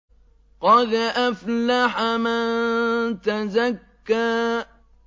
قَدْ أَفْلَحَ مَن تَزَكَّىٰ